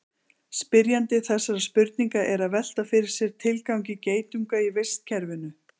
Spyrjandi þessarar spurningar er að velta fyrir sér tilgangi geitunga í vistkerfinu.